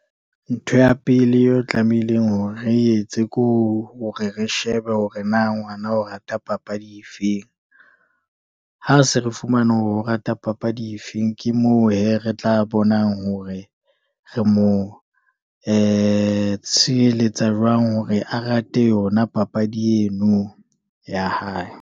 Ntho ya pele eo tlamehileng hore re etse, ke hore re shebe hore na ngwana o rata papadi efeng, ha re se re fumana hore o rata papadi efe feng. Ke moo hee, re tla bonang hore re mo tsheheletsa jwang hore a rate yona papadi eno ya hae.